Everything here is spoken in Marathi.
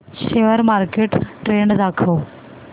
शेअर मार्केट ट्रेण्ड दाखव